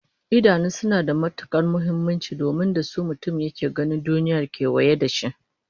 Idanu suna da matukar muhimmanci domin da su mutum yake ganin duniyar kewaye da shi